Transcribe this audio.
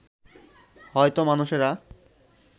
হয়তো মানুষেরা